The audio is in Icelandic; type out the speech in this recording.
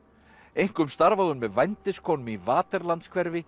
einkum starfaði hún með vændiskonum í